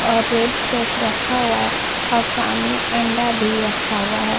और red sauce रखा हुआ है और सामने अंडा भी रखा हुआ है।